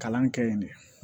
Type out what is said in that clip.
Kalan kɛ yen de